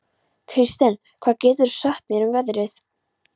Kirsten, hvað geturðu sagt mér um veðrið?